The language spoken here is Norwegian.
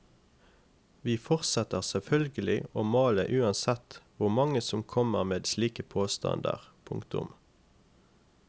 Vi fortsetter selvfølgelig å male uansett hvor mange som kommer med slike påstander. punktum